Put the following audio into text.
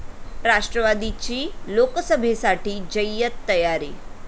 राष्ट्रवादीची लोकसभेसाठी जय्यत तयारी!